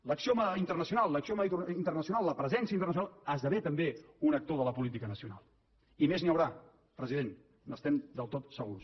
l’acció internacional la presència internacional esdevé també un actor de la política nacional i més n’hi haurà president n’estem del tot segurs